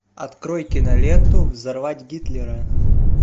открой киноленту взорвать гитлера